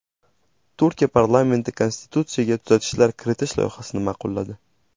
Turkiya parlamenti konstitutsiyaga tuzatishlar kiritish loyihasini ma’qulladi.